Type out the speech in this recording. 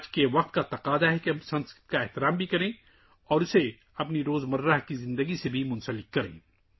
آج کا دور تقاضا کرتا ہے کہ ہم سنسکرت کو عزت دیں اور اسے اپنی روزمرہ کی زندگی سے بھی جوڑیں